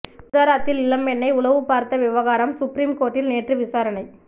குஜராத்தில் இளம்பெண்ணை உளவு பார்த்த விவகாரம் சுப்ரீம் கோர்ட்டில் நேற்று விசாரணை